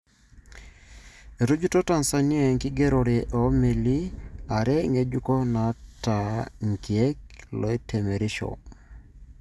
Etujuto Tanzania enkigerore o meli are ngejuko nata ikiek loitemerisho.